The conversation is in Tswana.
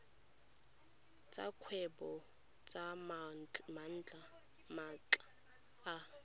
tsa kgwebo tsa maatla a